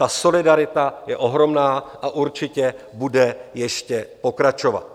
Ta solidarita je ohromná a určitě bude ještě pokračovat.